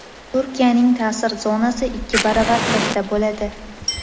Turkiyaning ta’sir zonasi ikki baravar katta bo‘ladi.